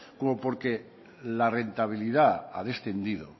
como porque la rentabilidad ha descendido